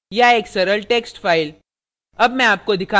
* या एक सरल text file